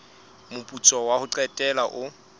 moputso wa ho qetela o